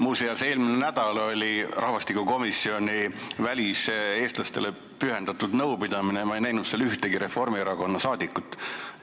Muuseas, eelmine nädal oli nn rahvastikukomisjoni väliseestlastele pühendatud nõupidamine ja ma ei näinud seal ühtegi Reformierakonna esindajat.